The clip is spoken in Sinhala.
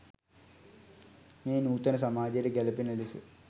මෙය නූතන සමාජයට ගැලපෙන ලෙස